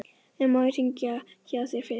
En má ég hringja hjá þér fyrst?